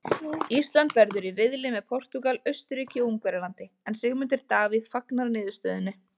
Ísland verður í riðli með Portúgal, Austurríki og Ungverjalandi en Sigmundur Davíð fagnar niðurstöðunni.